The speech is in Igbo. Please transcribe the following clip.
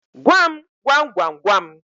Gwa m gwamgwamgwam